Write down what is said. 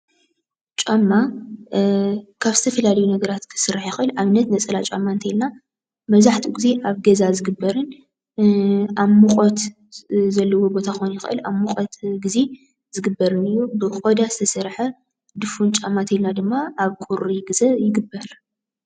ጫማ ካብ ዝተፈላለዩ ነገራት ክስራሕ ይኽእል፡፡ ኣብነት ነፀላ ጫማ እንተይልና መብዛሕትኡ ጊዜ ኣብ ገዛ ዝግበርን ኣብ ሙቐት ዘለዎ ቦታ ክኸውን ይኽእል ኣብ ሙቐት ጊዜ ዝግበርን እዩ፡፡ ብቆዳ ዝተሰርሐ ድፉን ጫማ እንተይልና ድማ ኣብ ቁሪ ግዘ ይግበር፡፡